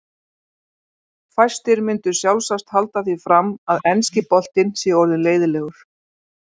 Fæstir myndu sjálfsagt halda því fram að enski boltinn sé orðinn leiðinlegur.